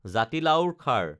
জাতিলাওৰ খাৰ